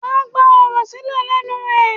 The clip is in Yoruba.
Wàá gba ọ̀rọ̀ sílè lẹ́nu ẹ̀.